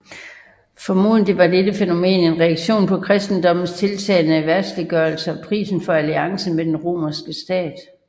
Formodentlig var dette fænomen en reaktion på kristendommens tiltagende verdsliggørelse og prisen for alliancen med den romerske stat